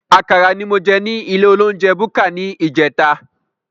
Àkàrà ní mo jẹ ní ilé olounjẹ búkà ní ìjẹta